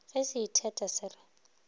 ge se itheta se re